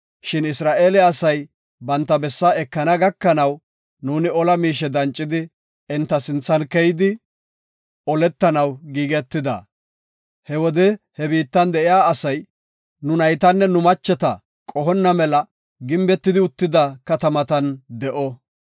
Shin Isra7eele asay banta bessaa ekana gakanaw nuuni ola miishe dancidi enta sinthan keyidi oletanaw giigetida. He wode he biittan de7iya asay nu naytanne nu macheta qohonna mela gimbetidi uttida katamatan de7ona.